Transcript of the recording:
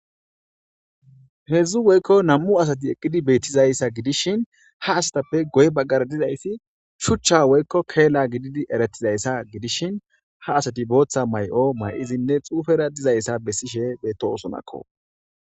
heedzdzu woykko nam7u asati eqqidi beettizayssa gidishin ha asatappe goy baggara dizayssi shuchcha woykko keella gididi eretizayssa gidishin ha asati booththa may7o may7izinne xuufera dizayssa bessishe beeto osonakko